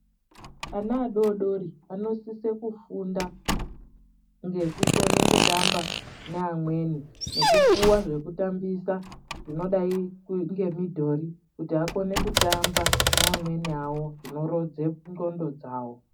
Ana adodori vanosise kufunda ngekukone kutamba neamweni nekupuva zvekutambisa zvinodai ngemidhori. Kuti akone kutamba neamweni avo zvinorodze ndxondo dzavo.